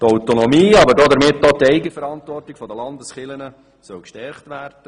Die Autonomie, aber damit auch die Eigenverantwortung der Landeskirchen soll gestärkt werden.